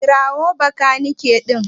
Kira min makaniki din.